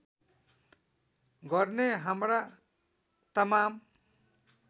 गर्ने हाम्रा तमाम